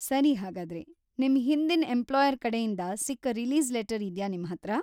ಸರಿ ಹಾಗಾದ್ರೆ ನಿಮ್ ಹಿಂದಿನ್ ಎಂಪ್ಲಾಯರ್‌ ಕಡೆಯಿಂದ ಸಿಕ್ಕ ರಿಲೀಸ್‌ ಲೆಟರ್‌ ಇದ್ಯಾ ನಿಮ್ಹತ್ರ?